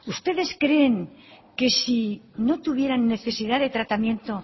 ustedes creen que si no tuvieran necesidad de tratamiento